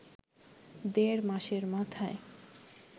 দেড় মাসের মাথায়